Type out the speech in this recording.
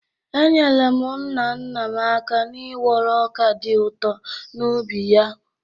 Enyere m nna nna m aka n'ịwọrọ ọka dị ụtọ n’ubi ya.